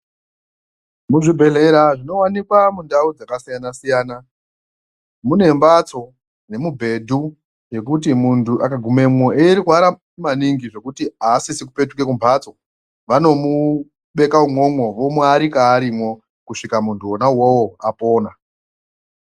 Muzvibhedhlera zvinowanikwa mundau dzakasiyana siyana mune mbatso nemubhedhu zvekuti muntu akagumemwo eirwara maningi zvekuti asisi kupetuka kumbatso vanobubeka umwomwo vomuarika arimwo kusvika muntu ona uwowo apona.